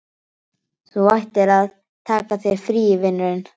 Þú ættir að taka þér frí, vinurinn.